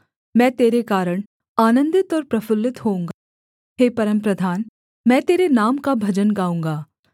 मैं तेरे कारण आनन्दित और प्रफुल्लित होऊँगा हे परमप्रधान मैं तेरे नाम का भजन गाऊँगा